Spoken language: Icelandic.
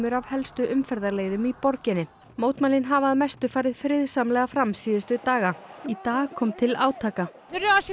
af helstu umferðarleiðum í borginni mótmælin hafa að mestu farið friðsamlega fram síðustu daga í dag kom til átaka